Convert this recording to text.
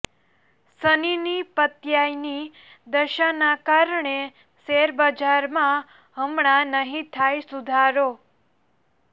શનિની પત્યાયની દશાના કારણે શેરબજારમાં હમણાં નહીં થાય સુધારો